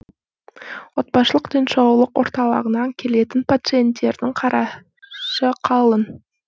отбасылық денсаулық орталығына келетін пациенттердің қара қалың